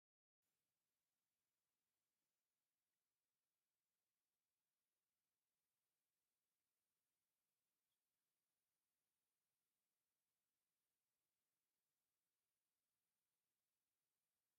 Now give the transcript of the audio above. ሓደ ስብኣይን ክልተ ኣንስትን ኣብ ኣክሱም ሓወልቲ ደስ ዝብል ፍሽክታ ዘለዎ ፎቶ ይለዓሉ ኣለዉ። ድሕረ ባይተኦም ኣክሱም ሓወልቲ እይ ።